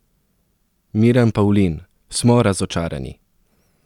Miran Pavlin: "Smo razočarani.